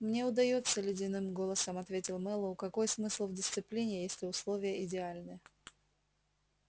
мне удаётся ледяным голосом ответил мэллоу какой смысл в дисциплине если условия идеальны